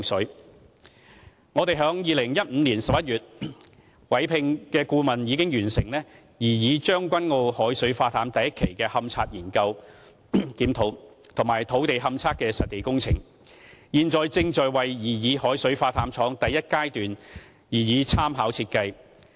就擬議將軍澳海水化淡廠的第一階段，我們於2015年11月委聘的顧問已完成勘查研究檢討和土地勘測的實地工程，現正在為擬議海水化淡廠第一階段擬備參考設計。